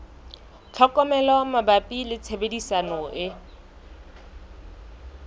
tlhokomelo mabapi le tshebediso e